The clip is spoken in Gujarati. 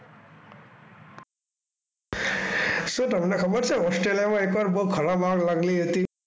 શું તમને ખબર છે? ઓસ્ટ્રેલિયામાં એક વાર બહુ ખરાબ આગ લાગેલી હતી.